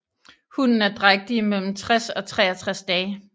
Hunnen er drægtig i mellem 60 og 63 dage